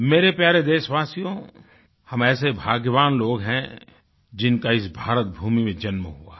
मेरे प्यारे देशवासियो हम ऐसे भाग्यवान लोग हैं जिनका इस भारत भूमि में जन्म हुआ है